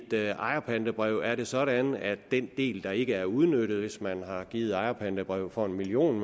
ejerpantebrev er det sådan at den del der ikke er udnyttet hvis man har givet et ejerpantebrev for en million